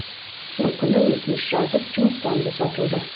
сол күні өтініш жазып жұмыстан босатылды